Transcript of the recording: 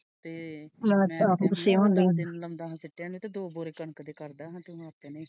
ਤੇ ਲਗਤਾਰ ਗੁੱਸੇ ਹੁਣ ਡਯਾ ਤੇ ਮੈਂ ਨੂੰ ਪਿਟੀਆ ਮੈਂ ਕਹਿਆ ਦੋ ਬੋਰੇ ਕਣਕ ਦੇ ਕਰ ਦਾ ਗੇ ਹਫ਼ਤੇ ਨੂੰ।